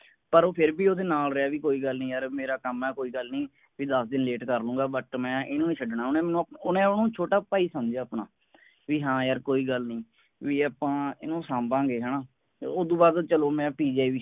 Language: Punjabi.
ਪਰ ਓਹੋ ਫੇਰ ਵੀ ਓਹਦੇ ਨਾਲ ਰਿਹਾ ਵੀ ਕੋਈ ਗੱਲ ਨਹੀਂ ਯਾਰ ਮੇਰਾ ਕੰਮ ਹੈ ਕੋਈ ਗੱਲ ਨਹੀਂ। ਵੀ ਦਸ ਦਿਨ late ਕਰ ਲਾਊਂਗਾ but ਮੈਂ ਇਹਨੂੰ ਨਹੀਂ ਛੱਡਣਾ। ਓਹਨੇ ਮੈਨੂੰ ਆਪਨਾ ਓਹਨੇ ਓਹਨੂੰ ਛੋਟਾ ਭਾਈ ਸਮਝਿਆ ਆਪਣਾ ਵੀ ਹਾਂ ਯਾਰ ਕੋਈ ਗੱਲ ਨਹੀਂ ਵੀ ਆਪਾਂ ਇਹਨੂੰ ਸਾਂਭਾਂਗੇ ਹੈ ਨਾ। ਉਸਤੋਂ ਬਾਅਦ ਚਲੋ ਮੈਂ PGI